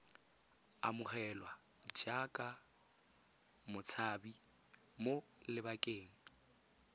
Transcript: amogelwa jaaka motshabi mo lebakeng